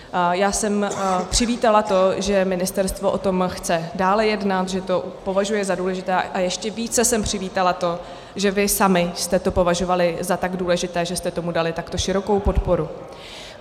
Já jsem přivítala to, že ministerstvo o tom chce dále jednat, že to považuje za důležité, a ještě více jsem přivítala to, že vy sami jste to považovali za tak důležité, že jste tomu dali takhle širokou podporu.